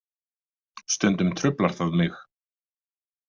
Stundum truflar það mig.